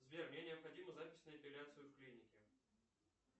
сбер мне необходима запись на эпиляцию в клинике